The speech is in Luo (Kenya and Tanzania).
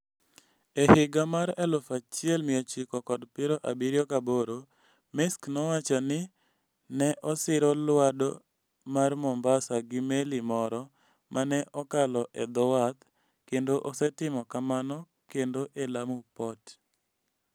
E higa mar 1978, Maersk nowacho ni ne osiro Lwado mar Mombasa gi meli moro ma ne okalo e dho wath, kendo osetimo kamano kendo e Lamu Port.